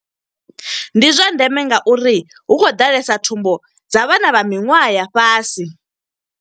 ndi zwa ndeme nga uri hu khou ḓalesa thumbu dza vhana vha miṅwaha ya fhasi.